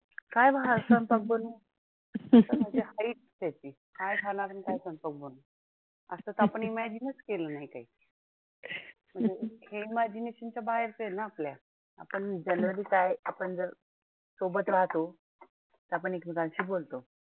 आपण generally काय? आपण जर सोबत राहतो तर आपण एकमेकांशी बोलतो.